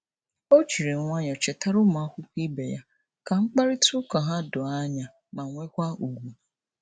O jiri nwayọọ chetara ụmụakwụkwọ ibe ya ka mkparịtaụka ha doo anya ma nwekwa ùgwù.